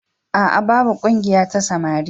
A'a, babu ƙungiya ta samari